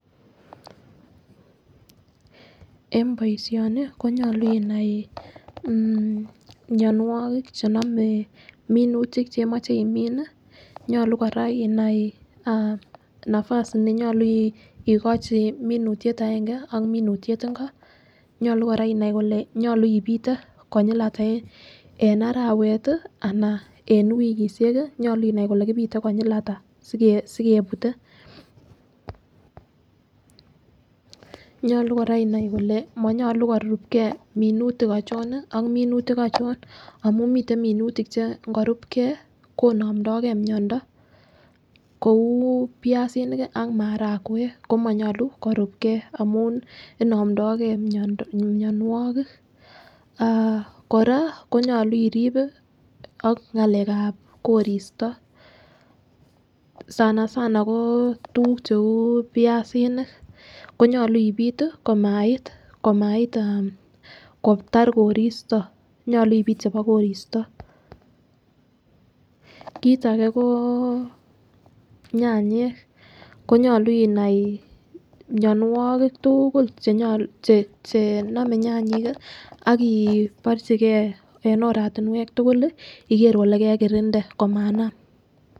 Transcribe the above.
En boishonik konyolu inai mionwokik chenome minutik cheimoche imin nii nyolu Koraa inai nafas nenyolu ikochi minutyet agenge ak minutyet inko. Nyolu Koraa inai Ile nyolu ipite konyil atak en arawek tii anan en wikishek nyolu inai Ile kipite konyil atak sikepute. Nyolu Koraa inai Ile monyolu korupkee minutik ochon Nii ak minutik ochon amun miten minutik che ikorupgee konomdogee miondo kou piasinik kii ak marawek komonyolu korubgee amun nii inomdogee mionwokik aah Koraa konyolu iribe ak ngalekab koristo sana sana koo tukuk cheu piasinik konyolu ipit tii komait komait aah kotar koristo konyolu ipit chebo koristo. Kit age koo nyanyik ko nyolu inai mionwokik tuukul chenyolu chenome nyanyik kii ak kii inborchigee en oratinwek tukul lii ikere Ile kekirinde komanam.